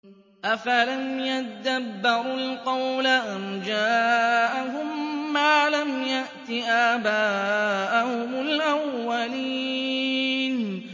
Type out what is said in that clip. أَفَلَمْ يَدَّبَّرُوا الْقَوْلَ أَمْ جَاءَهُم مَّا لَمْ يَأْتِ آبَاءَهُمُ الْأَوَّلِينَ